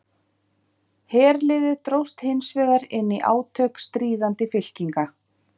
herliðið dróst hins vegar inn í átök stríðandi fylkinga